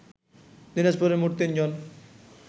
দিনাজপুরে মোট তিনজন